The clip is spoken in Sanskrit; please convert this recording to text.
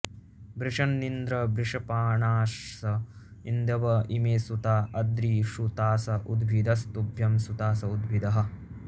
वृषन्निन्द्र वृषपाणास इन्दव इमे सुता अद्रिषुतास उद्भिदस्तुभ्यं सुतास उद्भिदः